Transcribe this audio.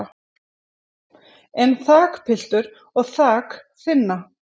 en þakpiltur og þak þynna